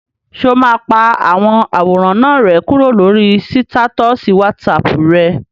Ṣé o máa pa àwọn àwòrán náà rẹ́ kúrò lórí sítátọ̀sì wásaàpù rẹ?